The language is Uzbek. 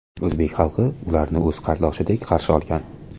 O‘zbek xalqi ularni o‘z qardoshidek qarshi olgan.